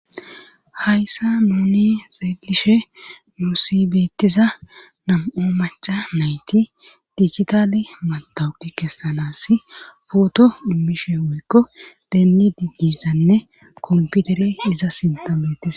hayssa muuni xeelishe muusibeettiza nam7o macha nayti dijitali matawudi kessanas pooto immishe woykko deenni digdisanne komputere iza sintametis